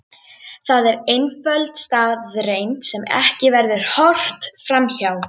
Það er einföld staðreynd sem ekki verður horft fram hjá.